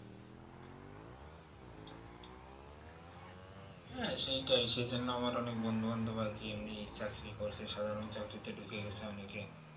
হ্যাঁ সেটাই সেই জন্য আমার অনেক বন্ধু বান্ধব মানে আর কি এমনি চাকরি করছে সাধারণ চাকরিতে ঢুকে গেছে অনেকে